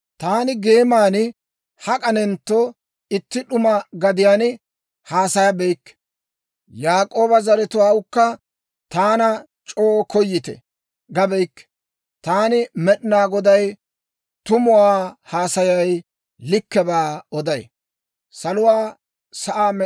taani geeman, hak'anentto itti d'uma gadiyaan haasayabeykke. Yaak'ooba zeretsawukka, ‹Taana c'oo koyite› gabeykke. Taani Med'inaa Goday tumuwaa haasayay; likkebaa oday.